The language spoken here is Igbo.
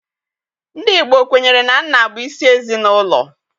Ndị Igbo kwenyere na nna bụ isi ezinụlọ